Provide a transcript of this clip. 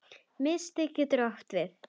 Miðstig getur átt við